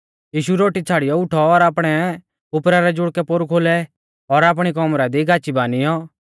यीशु रोटी छ़ाड़ियौ उठौ और आपणै उपरा रै जुड़कै पोरु खोलै और आपणी कौमरा दी गाची बानिऔ